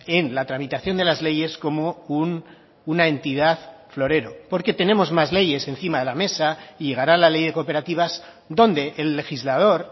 en la tramitación de las leyes como una entidad florero porque tenemos más leyes encima de la mesa y llegará la ley de cooperativas donde el legislador